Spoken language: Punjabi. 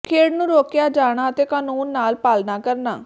ਖੇਡ ਨੂੰ ਰੋਕਿਆ ਜਾਣਾ ਅਤੇ ਕਾਨੂੰਨ ਨਾਲ ਪਾਲਣਾ ਕਰਨਾ